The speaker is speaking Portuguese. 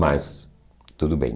Mas, tudo bem.